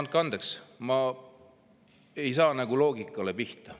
No andke andeks, ma ei saa loogikale pihta.